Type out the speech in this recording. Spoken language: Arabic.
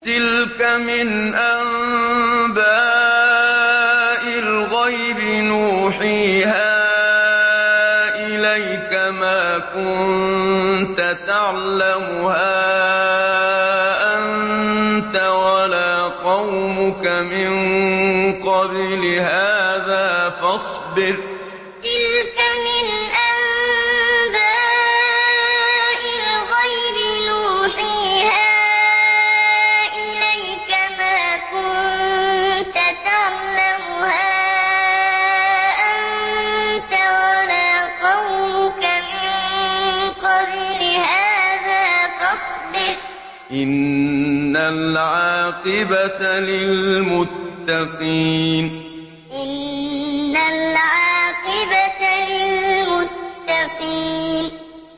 تِلْكَ مِنْ أَنبَاءِ الْغَيْبِ نُوحِيهَا إِلَيْكَ ۖ مَا كُنتَ تَعْلَمُهَا أَنتَ وَلَا قَوْمُكَ مِن قَبْلِ هَٰذَا ۖ فَاصْبِرْ ۖ إِنَّ الْعَاقِبَةَ لِلْمُتَّقِينَ تِلْكَ مِنْ أَنبَاءِ الْغَيْبِ نُوحِيهَا إِلَيْكَ ۖ مَا كُنتَ تَعْلَمُهَا أَنتَ وَلَا قَوْمُكَ مِن قَبْلِ هَٰذَا ۖ فَاصْبِرْ ۖ إِنَّ الْعَاقِبَةَ لِلْمُتَّقِينَ